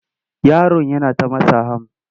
Yaron yana ta matsa ham.